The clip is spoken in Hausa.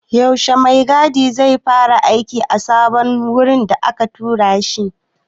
Yaushe mai gadi zai kama aiki a sabon wurin da aka tura shi?